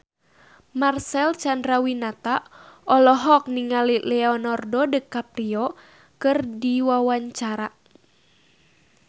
Marcel Chandrawinata olohok ningali Leonardo DiCaprio keur diwawancara